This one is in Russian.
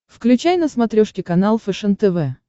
включай на смотрешке канал фэшен тв